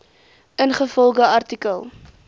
ingevolge artikel